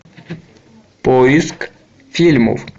поиск фильмов